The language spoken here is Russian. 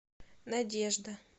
надежда